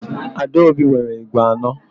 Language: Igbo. Adaobi nwere ígwè anọ.